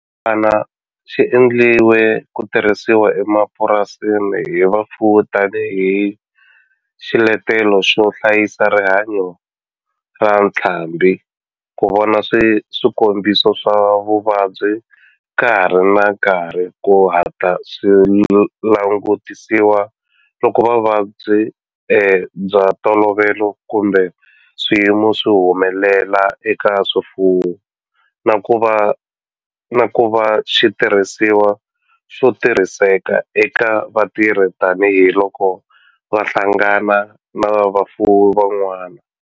Xibukwana xi endliwe ku tirhisiwa emapurasini hi vafuwi tani hi xiletelo xo hlayisa rihanyo ra ntlhambhi, ku vona swikombiso swa vuvabyi ka ha ri na nkarhi ku hatla swi langutisiwa loko vuvabyi bya ntolovelo kumbe swiyimo swi humelela eka swifuwo, na ku va xitirhisiwa xo tirhiseka eka vatirhi tani hi loko va hlangana na vafuwi van'wana.